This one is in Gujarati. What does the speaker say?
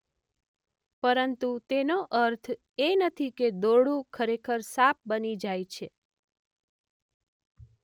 પરંતુ તેનો અર્થ એ નથી કે દોરડું ખરેખર સાપ બની જાય છે.